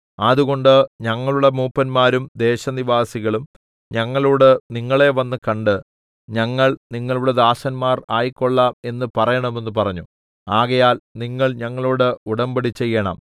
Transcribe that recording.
അതുകൊണ്ട് ഞങ്ങളുടെ മൂപ്പന്മാരും ദേശനിവാസികളും ഞങ്ങളോട് നിങ്ങളെ വന്നു കണ്ട് ഞങ്ങൾ നിങ്ങളുടെ ദാസന്മാർ ആയിക്കൊള്ളാം എന്ന് പറയണമെന്ന് പറഞ്ഞു ആകയാൽ നിങ്ങൾ ഞങ്ങളോട് ഉടമ്പടിചെയ്യേണം